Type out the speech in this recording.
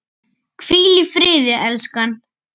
Hvíl í friði, elskan!